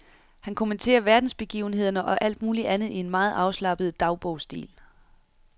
Han kommenterer verdensbegivenhederne og alt muligt andet i en meget afslappet dagbogsstil.